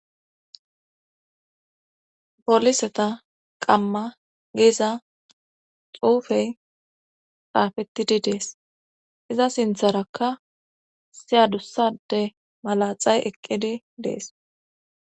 poliseta qamma giiza xuufey xaafettidi dees iza sintharakka siyadussade malaxay eqqidi dees